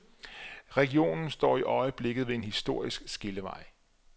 Regionen står i øjeblikket ved en historisk skillevej.